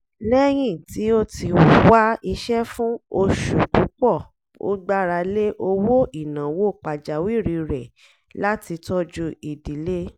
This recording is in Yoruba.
lẹ́yìn tí ó ti wá iṣẹ́ fún oṣù púpọ̀ ó gbára lé owó ìnáwó pàjáwìrì rẹ̀ láti tọ́jú ìdílé